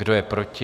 Kdo je proti?